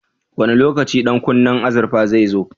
Wane lokaci ɗan kunnen azurfar zai zo?